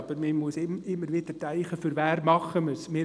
Aber man muss immer wieder daran denken, für wen man es tut.